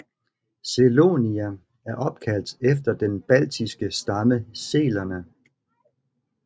Selonia er opkaldt efter den baltiske stamme selerne